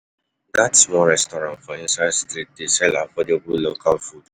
Dat small restaurant for inside street dey sell affordable local food.